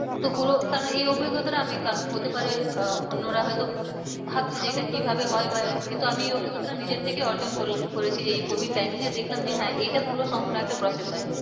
তো পুরো কারণ এই অভিজ্ঞতাটা আমি হতে পারে আহ অন্যরা হয় তো ভাবছে যে এটা কি ভাবে হয় বা কিন্তু আমি এই নিজের থেকেই অর্জন করেছি। এই codiv time এই দেখলাম যে হ্যাঁ এইটা পুরো সম্পূর্ণ একটা process হয়।